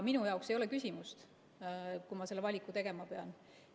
Minu jaoks ei ole küsimust, kui ma selle valiku tegema pean.